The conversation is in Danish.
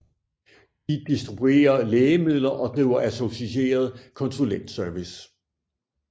De distribuerer lægemidler og driver associeret konsulentservice